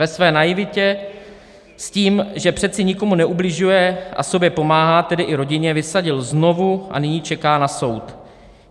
Ve své naivitě s tím, že přece nikomu neubližuje a sobě pomáhá, tedy i rodině, vysadil znovu a nyní čeká na soud.